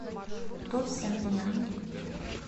дуцзянъянь